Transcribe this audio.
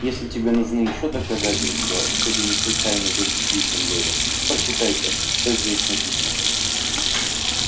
и если тебе нужны ещё доказательства что ты не случайный гость в гриффиндоре прочитай-ка что здесь написано